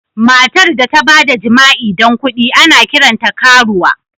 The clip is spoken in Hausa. Matar da ta ba da jima'i don kuɗi, ana kiranta karuwa.